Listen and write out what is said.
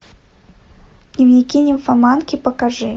дневники нимфоманки покажи